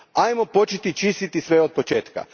Ajmo početi čistiti sve od početka.